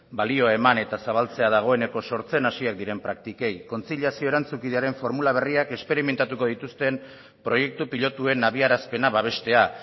balioa eman eta zabaltzea dagoeneko sortzen hasiak diren praktikei kontziliazio erantzunkidearen formula berriak esperimentatuko dituzten proiektu pilotuen abiarazpena babestea